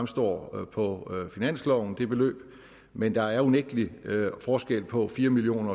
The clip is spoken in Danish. står på finansloven men der er unægtelig forskel på fire million